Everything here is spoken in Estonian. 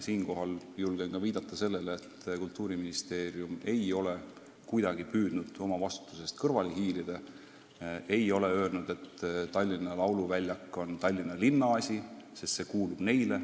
Siinkohal julgen kinnitada, et Kultuuriministeerium ei ole kuidagi püüdnud oma vastutusest kõrvale hiilida, ei ole öelnud, et Tallinna lauluväljak on Tallinna linna asi, sest see kuulub neile.